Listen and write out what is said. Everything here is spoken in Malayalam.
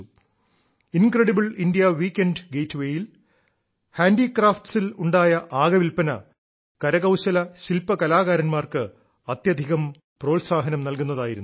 കിരൃലറശയഹല കിറശമ ണലലസലിറ ഏമലേംമ്യ ഒമിറശരൃമള േൽ ഉണ്ടായ ആകെ വില്പന കരകൌശലശില്പ കലാകാര•ാർക്ക് അത്യധികം പ്രോത്സാഹനം നൽകുന്നതായിരുന്നു